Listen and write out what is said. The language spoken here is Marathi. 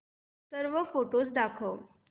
सर्व फोटोझ दाखव